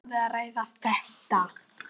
Eigum við að ræða þetta?